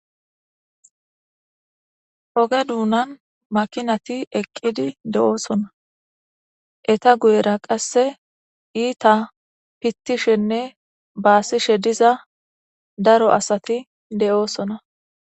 Oge duunan makinati eqqidi de7oosona eta guyera qasse iita pittishenne baasishe diza daro asati de7oosona